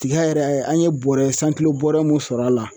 Tiga yɛrɛ an ye bɔrɛ santilo bɔrɛ mun sɔrɔ a la.